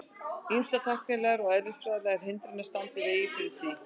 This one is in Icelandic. Ýmsar tæknilegar og eðlisfræðilegar hindranir standi í veginum fyrir því.